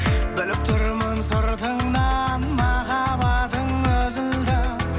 біліп тұрмын сыртыңнан махаббатың үзілді